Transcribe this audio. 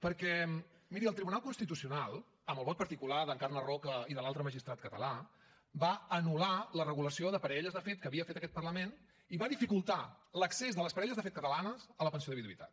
perquè miri el tribunal constitucional amb el vot particular d’encarna roca i de l’altre magistrat català va anul·lar la regulació de parelles de fet que havia fet aquest parlament i va dificultar l’accés de les parelles de fet catalanes a la pensió de viduïtat